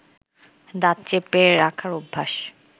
দাঁত চেপে রাখার অভ্যাস